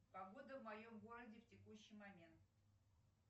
погода в моем городе в текущий момент